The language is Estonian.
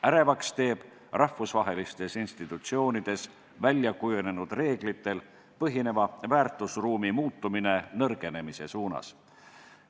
Ärevaks teeb rahvusvahelistes institutsioonides väljakujunenud reeglitel põhineva väärtusruumi muutumine nõrgenemise suunas.